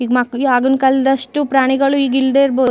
ಇದು ಮಕ್ ಆಗಿನ ಕಾಲದಷ್ಟು ಪ್ರಾಣಿಗಳು ಈಗ ಇಲ್ದೆ ಇರ --